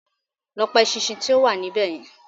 Lọ pa eṣinṣin tí ó wà níbẹ̀ yen